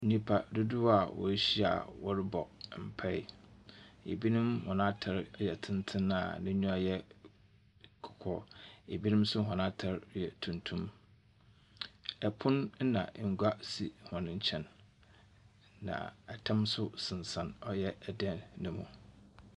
Nnipa dodoɔ a woehyia a wɔrobɔ mpae. Binom hɔn atar ye tsentsen a n'enyiwa yɛ kɔkɔɔ. Binom nso hɔn atar yɛ tuntum. Pon na ngua sisi hɔn nkyɛn. Na tam nso sensɛn ɔyɛ dan no mu.